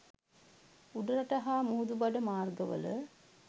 උඩරට හා මුහුදුබඩ මාර්ගවල